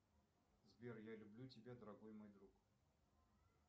сбер я люблю тебя дорогой мой друг